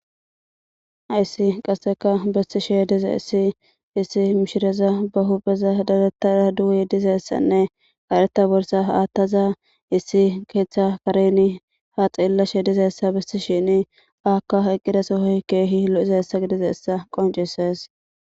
Haysi qaseka dochishe dizaysi issi mishira ba hupheza dadisida duge Arte borsa atada dizaysanne issi ketha Karen ha xelashe dizzysa besashe dizaysa beses izaka eqidaso kehi lo'izaysa qoncises.